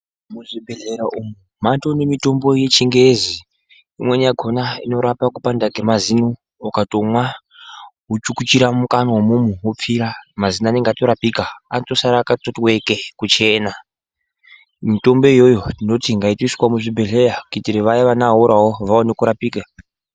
Muzvibhedhlera umu matonimitombo yechingezi Imweni yakona inorapa kupanda kwemazino ukatomwa wochukuchira mukanwa imomo wopfira mazino anenge atorapika anotosara akati weke kuchena mitombo iyoyo tinoti ngaiswe muzvibhedhlera kuitira Vaya vane awora vaone kurapika.